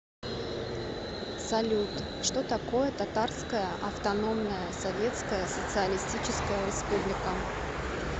салют что такое татарская автономная советская социалистическая республика